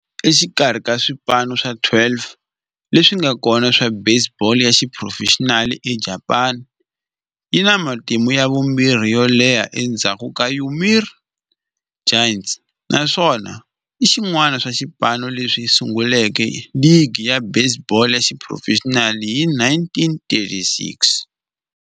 Exikarhi ka swipano swa 12 leswi nga kona swa baseball ya xiphurofexinali eJapani, yi na matimu ya vumbirhi yo leha endzhaku ka Yomiuri Giants, naswona i xin'wana xa swipano leswi sunguleke ligi ya baseball ya xiphurofexinali hi 1936.